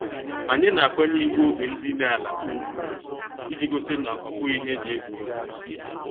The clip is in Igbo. Anyị na-akwanye iwu oge ndine ala ugwu, iji gosi na obughi ihe eji egwu egwu.